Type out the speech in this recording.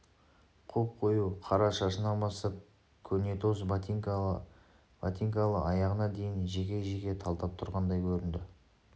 қоп-қою қара шашынан бастап көнетоз ботинкалы аяғына дейін жеке-жеке талдап тұрғандай көрінді